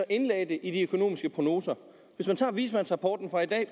indlagde det i de økonomiske prognoser hvis man tager vismandsrapporten fra i dag og